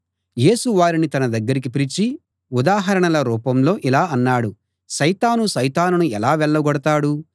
యేసు వారిని తన దగ్గరికి పిలిచి ఉదాహరణల రూపంలో ఇలా అన్నాడు సైతాను సైతానును ఎలా వెళ్ళగొడతాడు